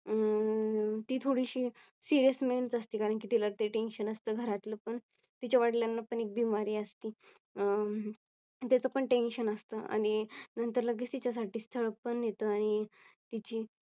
अं ती थोडीशी Serious असते कारण कि तिला ते Tension असते घरातील पण कारण कि तिच्या वडिलांना पण एक बीमारी असती अह त्याच पण टेन्शन असतं आणि नंतर लगेच तिच्या साठी स्थळ पण येत आणि तिची